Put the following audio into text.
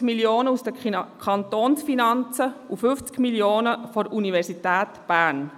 50 Mio. Franken aus den Kantonsfinanzen und 50 Mio. Franken seitens der Universität Bern.